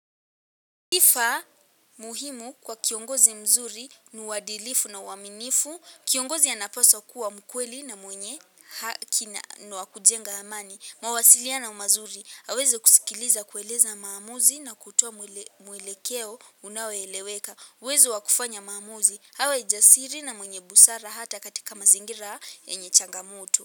Kifaa muhimu kwa kiongozi mzuri ni uadilifu na uaminifu. Kiongozi anapaswa kuwa mkweli na mwenye hakina nwa kujenga amani. Mawasiliana umazuri, aweze kusikiliza kueleza maamuzi na kutua mwelekeo unaweleweka. Wezo wakufanya maamuzi, hawa ijasiri na mwenye busara hata katika mazingira ya nye changamuto.